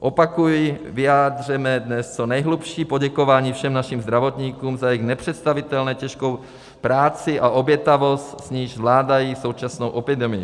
Opakuji, vyjádřeme dnes co nejhlubší poděkování všem našim zdravotníkům za jejich nepředstavitelně těžkou práci a obětavost, s níž zvládají současnou epidemii.